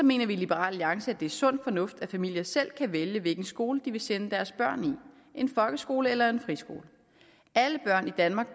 mener vi i liberal alliance at det er sund fornuft at familier selv kan vælge hvilken skole de vil sende deres børn i en folkeskole eller en friskole alle børn i danmark